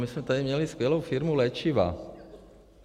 My jsme tady měli skvělou firmu Léčiva.